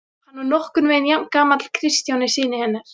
Hann var nokkurn veginn jafn gamall Kristjáni syni hennar.